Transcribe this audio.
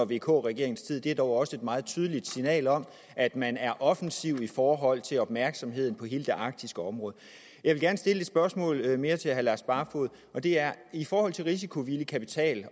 vk regeringens tid og det er dog også et meget tydeligt signal om at man er offensiv i forhold til opmærksomheden på hele det arktiske område jeg vil gerne stille et spørgsmål mere til herre lars barfoed og det er i forhold til risikovillig kapital